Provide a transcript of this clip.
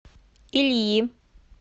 ильи